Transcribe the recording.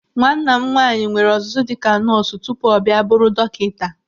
Nwanna m nwaanyị nwere ọzụzụ dịka nọọsụ tupu ọ bịa bụrụ dọkịta.